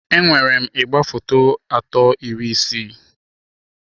Enwere m igwefoto atọ iri isii.